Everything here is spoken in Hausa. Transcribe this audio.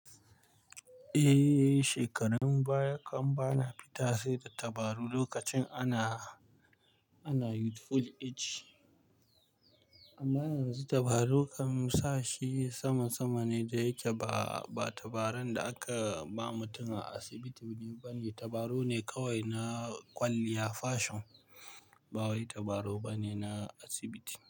Eh, shekarun baya kan ba na fita sai da tabarau lokacin ana youthful age. Amma yanzu tabarau akan sa shi sama-sama ne da yake ba, ba tabaran da aka ba mutum a asibiti bane. Tabarau ne kawai na kwalliya fashion, ba wai tabarau bane na asibiti.